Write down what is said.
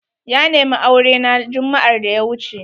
Ya nemi aure na jumma'ar da ya wuce.